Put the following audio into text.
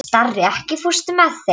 Starri, ekki fórstu með þeim?